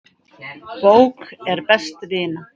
Bók er best vina.